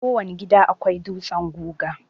Kowane gida akwai dutsen guga.